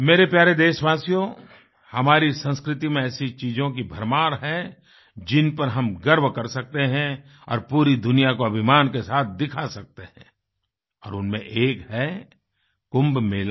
मेरे प्यारे देशवासियो हमारी संस्कृति में ऐसी चीज़ों की भरमार है जिनपर हम गर्व कर सकते हैं और पूरी दुनिया को अभिमान के साथ दिखा सकते हैं और उनमें एक है कुंभ मेला